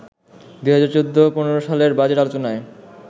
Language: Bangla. ২০১৪-১৫ সালের বাজেট আলোচনায়